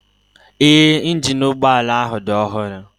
Ee, injini ụgbọala ahụ dị ọhụrụ